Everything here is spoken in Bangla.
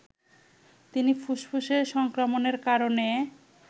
তিনি ফুসফুসে সংক্রমণের কারণে